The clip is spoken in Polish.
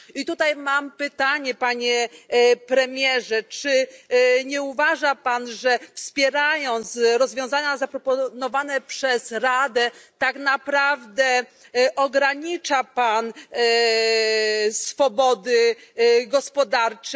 I tutaj mam pytanie, panie premierze czy nie uważa pan, że wspierając rozwiązania zaproponowane przez Radę, tak naprawdę ogranicza pan swobody gospodarcze?